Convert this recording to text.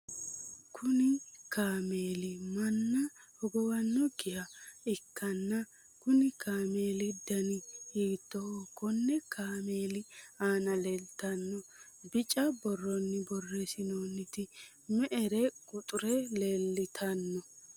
kuni kaameeli manna hogowannokkiha ikkanna, konni kaameeli dani hiittooho? konne kaameeli aana leeltannoti bica borroni borreessinoonniti me'r'e quxure leeltanno ?